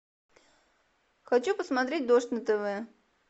хочу посмотреть дождь на тв